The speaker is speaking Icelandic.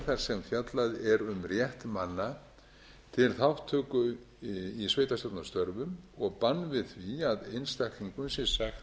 þar sem fjallað er um rétt manna til þátttöku í sveitarstjórnarstörfum og bann við því að einstaklingum sé sagt upp